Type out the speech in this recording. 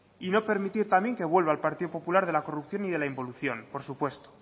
y no permitir también que vuelva el partido popular de la corrupción y de la involución por supuesto